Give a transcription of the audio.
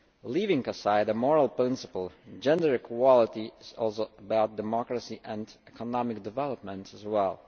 Leaving aside the moral principle, gender equality is also about democracy and economic development as well.